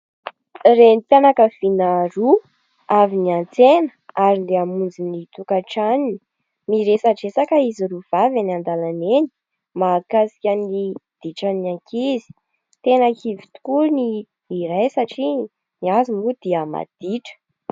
Renim-pianakaviana roa, avy niantsena ary dia mamonjy ny tokantranony miresadresaka izy roa vavy eny an-dalana eny mahakasika ny ditran'ny ankizy ; tena kivy tokoa ny iray satria ny azy moa dia maditra.